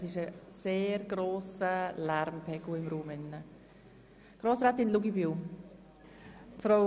Es herrscht ein sehr grosser Lärmpegel im Saal.